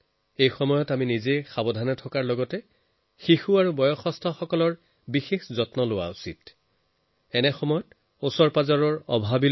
এই বতৰত আমি পৰিয়ালৰ শিশু আৰু বয়সস্থলোক ৰুগীয়া লোকৰ ওপৰত বিশেষ চকু ৰাখিব লাগে নিজেও সতৰ্ক হৈ থাকিব লাগে